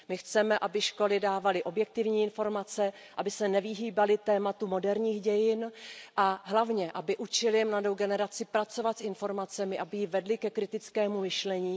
My chceme, aby školy dávaly objektivní informace, aby se nevyhýbaly tématu moderních dějin a hlavně aby učily mladou generaci pracovat s informacemi, aby ji vedly ke kritickému myšlení.